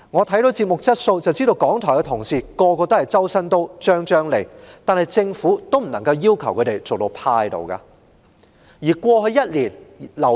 從節目質素可見，港台每位同事都"周身刀張張利"，但政府也不能要求他們工作至病倒。